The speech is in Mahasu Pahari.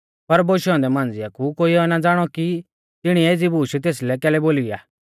पर बोशै औन्दै मांझ़िआ कु कोइऐ ना ज़ाणौ कि तिणीऐ एज़ी बूश तेसलै कैलै बोली आ